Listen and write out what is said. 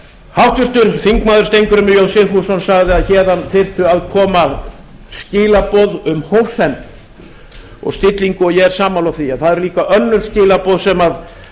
háttvirtur þingmaður steingrímur j sigfússon sagði að héðan þyrftu að koma skilaboð um hófsemd og stillingu og ég er sammála því en það eru líka önnur skilaboð sem þurfa að